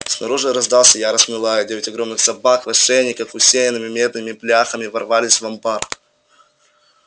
снаружи раздался яростный лай и девять огромных собак в ошейниках усеянными медными бляхами ворвались в амбар